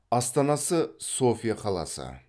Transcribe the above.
астанасы софия қаласы